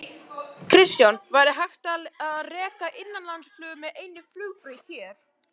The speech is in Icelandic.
Kristján: Væri hægt að reka innanlandsflug með einni flugbraut hér?